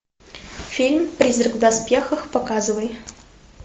фильм призрак в доспехах показывай